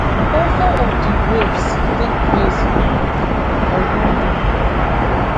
four four of di rapes take place um for london